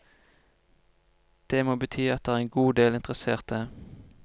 Det må bety at det er en god del interesserte.